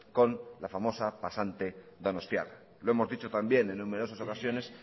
con la famosa pasante donostiarra lo hemos dicho también en numerosas ocasiones